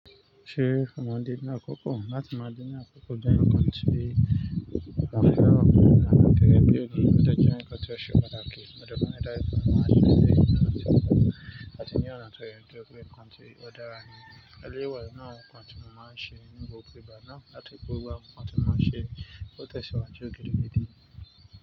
Ṣé mo máa ń de ní àkókò? Láti máa ji ní àkókò gbẹ́yìn kan ti, àfi ọ̀la ni, tẹ́lẹ̀ pẹ́lú ni ó ti jẹ́ nǹkan tí ó ṣe pàtàkì. Òdodo ní láìsí ẹran máa ń ṣe dé, ní ọ̀nà tí ń fẹ́, láti ní ọ̀nà tó yẹ kó jẹ́ nǹkan tí ó dára ni. Ẹlẹ́rọ wà ni àwọn nǹkan tí mo máa ń ṣe nígbà púpọ̀, bá náà láti pọ̀ wópọ̀ àwọn nǹkan tí mo máa ń ṣe tó tẹ̀ síwájú ògidi gidi.